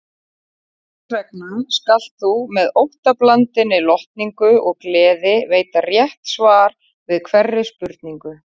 Þessvegna skalt þú með óttablandinni lotningu og gleði veita rétt svar við hverri spurningu.